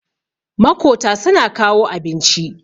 makota suna kawo abinci